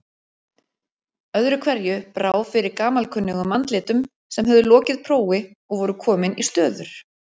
Öðru hverju brá fyrir gamalkunnugum andlitum sem höfðu lokið prófi og voru komin í stöður.